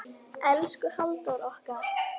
Elsku Halldór okkar.